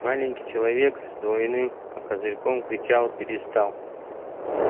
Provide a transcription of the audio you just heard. маленький человечек с двойным козырьком кричал перестал